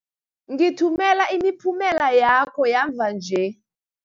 Ngithumela imiphumela yakho yamva nje.